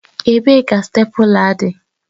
Ebee ka stèpula dị?